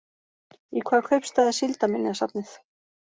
Í hvaða kaupstað er síldarminjasafnið?